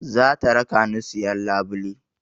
Za ta raka ni siyan labule